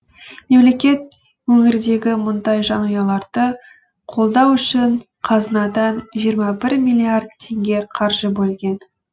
мемлекет өңірдегі мұндай жанұяларды қолдау үшін қазынадан жиырма бір миллирд теңге қаржы бөлген